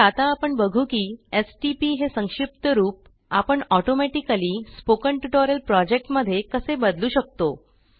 तर आता आपण बघू की stpहे संक्षिप्त रूप आपणautomatically स्पोकन ट्युटोरियल प्रोजेक्ट मध्ये कसे बदलू शकतो